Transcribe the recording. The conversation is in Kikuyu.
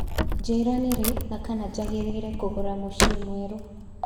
njĩira nĩ rĩ na kana nĩnjagĩrire kũgũra mũcĩĩ mwerũ